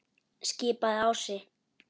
skipaði Ási.